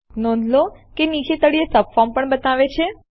નોંધ લો કે તે નીચે તળિયે સબફોર્મ પણ બતાવે છે